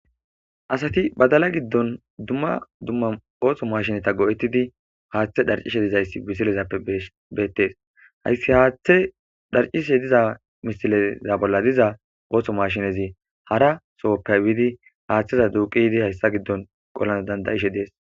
Asati badala giddonni dumma dumma oththo mashshineta go'etiddi haththe dhaccishshe dizayis missilezappe betees.hayiss haththe dhaccishshe diza missileza bolla diza oththo mashshinezzi